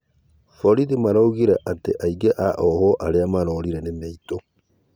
Borĩthĩ maraũga atĩ aĩngĩ a ohwo arĩa marorĩre mararĩ mĩĩtũ